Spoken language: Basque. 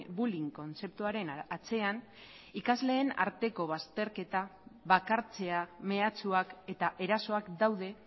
bullying kontzeptuaren atzean ikasleen arteko bazterketa bakartzea mehatxuak eta erasoak daude